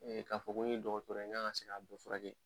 k'a fɔ ko n ye dɔgɔtɔrɔ n kan ka se k'a bɛɛ furakɛ.